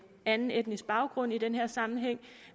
anden etnisk baggrund i den her sammenhæng